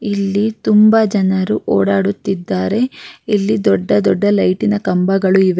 ಇಲ್ಲಿ ತುಂಬಾ ಜನರು ಓಡಾಡುತ್ತಿದ್ದಾರೆ ಇಲ್ಲಿ ದೊಡ್ಡ ದೊಡ್ಡ ಲೈಟಿನ ಕಂಬಗಳು ಇವೆ.